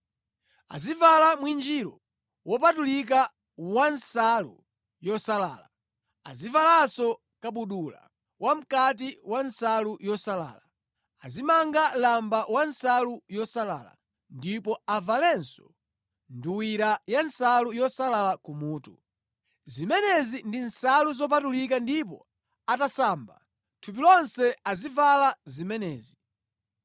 Azivala mwinjiro wopatulika wa nsalu yosalala, azivalanso kabudula wa mʼkati wa nsalu yosalala, azimanga lamba wa nsalu yosalala, ndipo avalenso nduwira ya nsalu yosalala kumutu. Zimenezi ndi nsalu zopatulika ndipo atasamba thupi lonse azivala zimenezi.